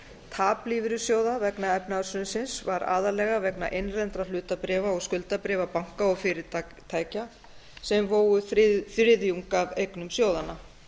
tap lífeyrissjóða vegna efnahagshrunsins var aðallega vegna innlendra hlutabréfa og skuldabréfa banka og fyrirtækja sem vógu þriðjung af eignum sjóðanna